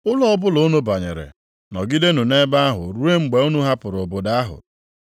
Ụlọ ọbụla unu banyere, nọgidenụ nʼebe ahụ ruo mgbe unu hapụrụ obodo ahụ.